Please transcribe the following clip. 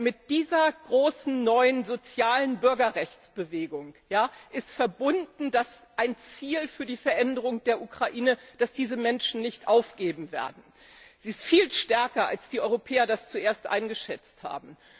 Mit dieser großen neuen sozialen Bürgerrechtsbewegung ist ein Ziel für die Veränderung der Ukraine verbunden, das diese Menschen nicht aufgeben werden, das ist viel stärker, als die Europäer das zuerst eingeschätzt haben.